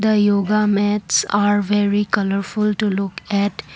a yoga mats are very colourful to look at--